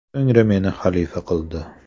So‘ngra meni xalifa qildi.